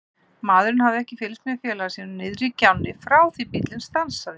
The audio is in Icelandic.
Maðurinn hafði ekkert fylgst með félaga sínum niðri í gjánni frá því bíllinn stansaði.